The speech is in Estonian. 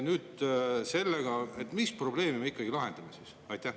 Mis probleemi me ikkagi nüüd sellega siis lahendame?